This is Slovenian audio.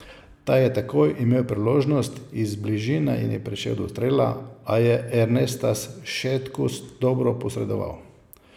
Ta je takoj imel priložnost, iz bližine je prišel do strela, a je Ernestas Šetkus dobro posredoval.